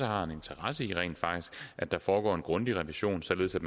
har en interesse i at der foregår en grundig revision således at